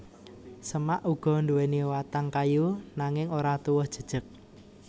Semak uga nduwèni watang kayu nanging ora tuwuh jejeg